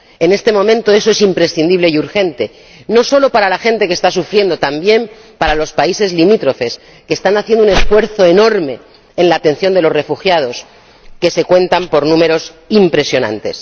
En este momento eso es imprescindible y urgente, no solo para la gente que está sufriendo, también para los países limítrofes que están haciendo un esfuerzo enorme en la atención de los refugiados, que se cuentan por números impresionantes.